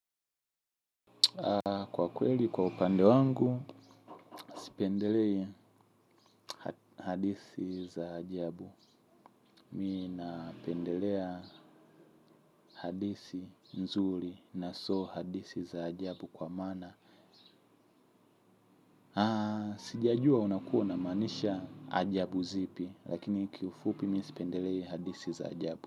Kwa kweli, kwa upande wangu, sipendelei hadithi za ajabu. Mimi napendelea hadithii nzuri na sio hadithi za ajabu kwa maana sijajua unakua unamaanisha ajabu zipi, lakini kifupi mimi sipendelei hadithi za ajabu.